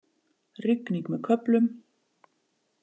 Rigning með köflum